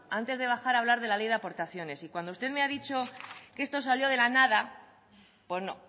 antes de bajar a hablar de la ley de aportaciones y cuando usted me ha dicho que esto salió de la nada pues no